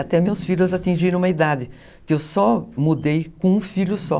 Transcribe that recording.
Até meus filhos atingiram uma idade que eu só mudei com um filho só.